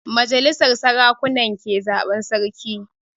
Majalisar sarakuna ke zaban sarki